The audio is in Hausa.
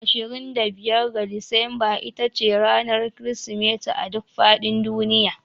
25 ga Disamba ita ce ranar Kirsimeti a duk faɗin duniya